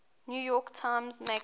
york times magazine